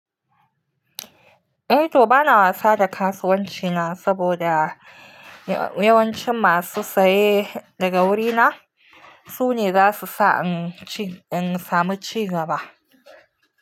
Eh to bana wasa da kasuwanci na saboda yawancin masu saye daga wurina su ne zasu sa in samu cigaba.